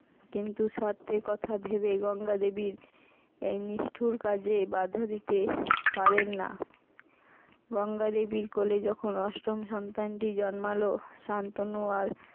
কিন্তু শর্তের কথা ভেবে গঙ্গা দেবীর এই নিষ্ঠুর কাজে বাঁধা দিতে পারেন না। গঙ্গা দেবীর কোলে যখন অষ্টম সন্তানটি জন্মালো শান্তনু আর।